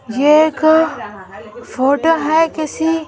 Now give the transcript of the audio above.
यह एक फोटो है किसी--